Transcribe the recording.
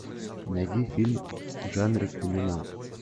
найди фильм в жанре криминал